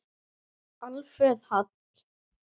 Alfreð Hall.